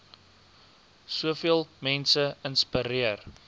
soveel mense inspireer